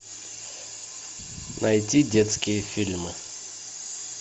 найти детские фильмы